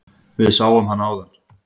Við sáum hana áðan.